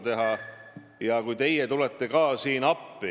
Inimesed võivad eksida, võivad muutuda, retoorika võib muutuda.